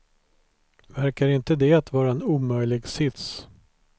Verkar inte det vara en omöjlig sits?